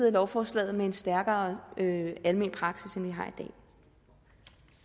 af lovforslaget med en stærkere almen praksis end vi